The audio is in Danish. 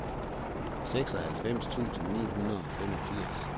syvoghalvfems tusind ni hundrede og femogfirs